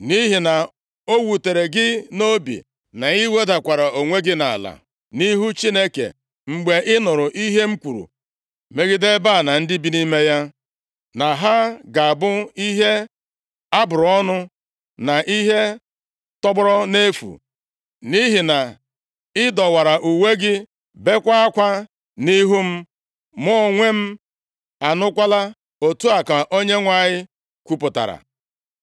Nʼihi na o wutere gị nʼobi, na i wedakwara onwe gị nʼala nʼihu Chineke, mgbe ị nụrụ ihe m kwuru megide ebe a na ndị bi nʼime ya, na ha ga-abụ ihe a bụrụ ọnụ, na ihe tọgbọrọ nʼefu, nʼihi na i dọwara uwe gị, bekwaa akwa nʼihu m, mụ onwe m anụkwala, otu a ka Onyenwe anyị kwupụtara.